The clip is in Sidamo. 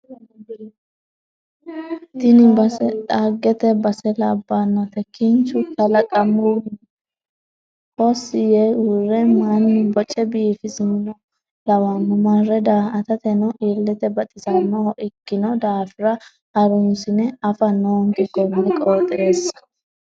Tini base dhaggete base labbanote kinchu kalaqamuni hossi yee uurre mannu boce biifinsoha lawano marre daa"attateno ilete baxisanoho ikkino daafira harunsine affa noonke kone qooxeessa.